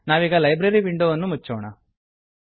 ನಾವೀಗ ಲೈಬ್ರರಿ ವಿಂಡೋವನ್ನು ಮುಚ್ಚೋಣ